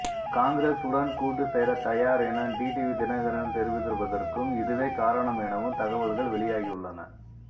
காங்கிரசுடன் கூட்டுசேர தயார் என டிடிவி தினகரன் தெரிவித்திருப்பதற்கும் இதுவே காரணம் எனவும் தகவல்கள் வெளியாகியுள்ளன